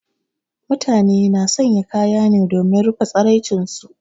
Mutane na sanya kaya ne domin rufe tsiraicin su.